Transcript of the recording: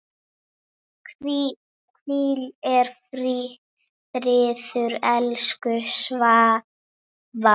Hvíl í friði, elsku Svava.